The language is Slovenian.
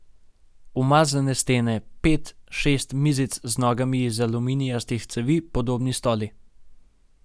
Umazane stene, pet, šest mizic z nogami iz aluminijastih cevi, podobni stoli.